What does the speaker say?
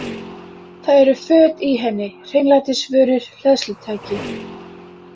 Það eru föt í henni, hreinlætisvörur, hleðslutæki.